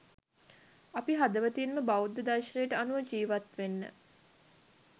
අපි හදවතින්ම බෞද්ධ දර්ෂනයට අනුව ජීවත් වෙන්න